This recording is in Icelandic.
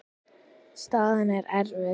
Staðan er erfið.